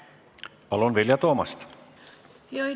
Palun, Vilja Toomast!